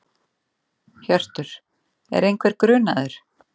Hjörtur: Er einhver grunaður?